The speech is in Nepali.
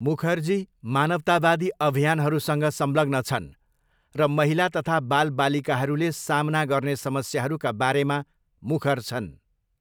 मुखर्जी मानवतावादी अभियानहरूसँग संलग्न छन् र महिला तथा बालबालिकाहरूले सामना गर्ने समस्याहरूका बारेमा मुखर छन्।